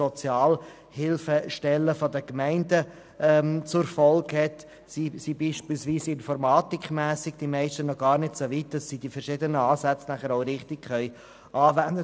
So sind die meisten Sozialhilfestellen punkto Informatik noch gar nicht so weit, dass sie die verschiedenen Ansätze richtig anwenden könnten.